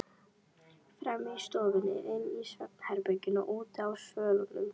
Frammi í stofunni, inni í svefnherberginu og úti á svölunum.